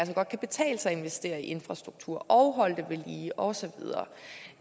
godt kan betale sig at investere i infrastruktur og holde det ved lige og så videre